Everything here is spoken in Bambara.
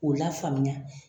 K'u lafaamuya